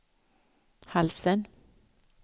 halsen